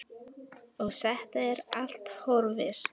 Og þetta er allt horfið.